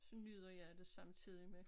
Så nyder jeg det samtidig med